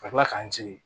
Ka tila k'an sigi